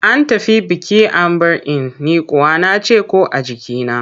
An tafi biki an bar in, ni kuwa na ce ‘ko a jikina.